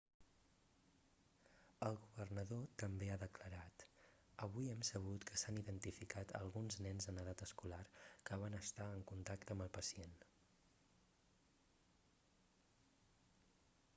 el governador també ha declarat avui hem sabut que s'han identificat alguns nens en edat escolar que van estar en contacte amb el pacient